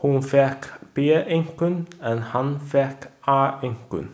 Hún fékk B-einkunn en hann fékk A-einkunn.